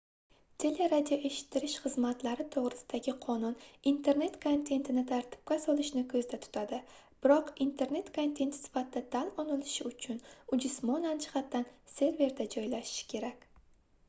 teleradioeshittirish xizmatlari toʻgʻrisidagi qonun internet kontentini tartibga solishni koʻzda tutadi biroq internet kontenti sifatida tan olinishi uchun u jismonan jihatdan serverda joylashishi kerak